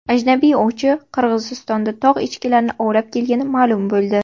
Ajnabiy ovchi Qirg‘izistonda tog‘ echkilarini ovlab kelgani ma’lum bo‘ldi.